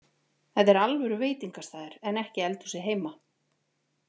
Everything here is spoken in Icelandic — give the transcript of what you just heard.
Þetta er alvöru veitingastaður en ekki eldhúsið heima